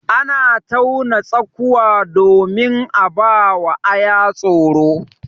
Ana tauna tsakuwa domin a ba aya tsoro.